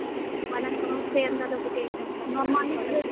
ମାନେ ସମସ୍ତେ ଏନ୍ ତା ଟା ଗୁଟେ uniform normally ଗୁଟେ dress ।